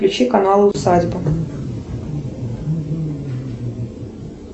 включи канал усадьба